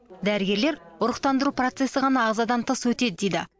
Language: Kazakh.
дәрігерлер ұрықтандыру процесі ғана ағзадан тыс өтеді дейді